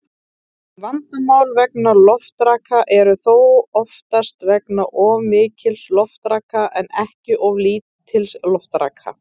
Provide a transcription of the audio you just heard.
Vandamál vegna loftraka eru þó oftast vegna of mikils loftraka en ekki of lítils loftraka.